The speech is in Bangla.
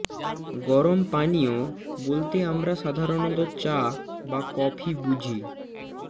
গরম পানীয় বলতে আমরা সাধারণত চা বা কফি বুঝি